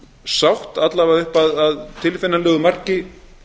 sátt alla vega upp að tilfinnanlegu marki